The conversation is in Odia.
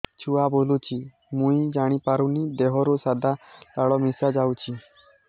ଛୁଆ ବୁଲୁଚି ମୁଇ ଜାଣିପାରୁନି ଦେହରୁ ସାଧା ଲାଳ ମିଶା ଯାଉଚି